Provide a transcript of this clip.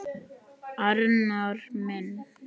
Arnar minn!